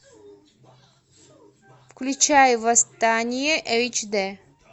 включай восстание эйч д